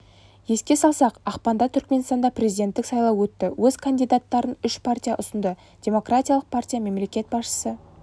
еске салсақ ақпанда түркменстанда президенттік сайлау өтті өз кандидаттарын үш партия ұсынды демкратиялық партия мемлекет басшысы